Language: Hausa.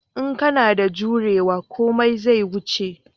In kana da juriya komai zai wuce